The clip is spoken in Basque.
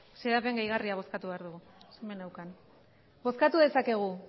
xedapen gehigarria bozkatu behar dugu bozkatu dezakegu